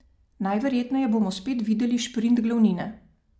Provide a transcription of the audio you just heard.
Najverjetneje bomo spet videli šprint glavnine.